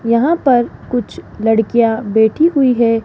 यहां पर कुछ लडकियां बैठी हुई है।